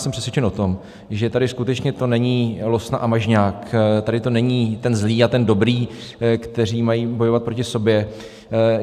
Jsem přesvědčen o tom, že tady skutečně to není Losna a Mažňák, tady to není ten zlý a ten dobrý, kteří mají bojovat proti sobě.